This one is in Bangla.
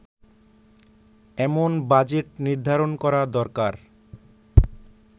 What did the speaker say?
এমন বাজেট নির্ধারণ করা দরকার